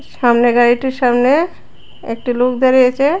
সামনে গাড়িটির সামনে একটি লোক দাঁড়িয়ে আছে।